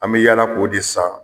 An bɛ yaala k'o de san